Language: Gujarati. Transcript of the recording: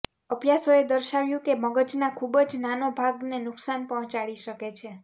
અભ્યાસોએ દર્શાવ્યું છે કે મગજના ખૂબ જ નાનો ભાગને નુકસાન પહોંચાડી શકે છે